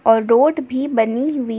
और रोड भी बनी हुई--